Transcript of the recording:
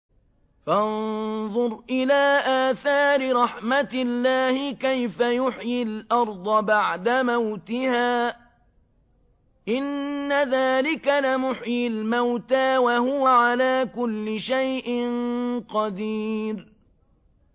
فَانظُرْ إِلَىٰ آثَارِ رَحْمَتِ اللَّهِ كَيْفَ يُحْيِي الْأَرْضَ بَعْدَ مَوْتِهَا ۚ إِنَّ ذَٰلِكَ لَمُحْيِي الْمَوْتَىٰ ۖ وَهُوَ عَلَىٰ كُلِّ شَيْءٍ قَدِيرٌ